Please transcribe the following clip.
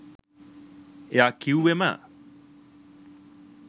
එයා කිව්වෙම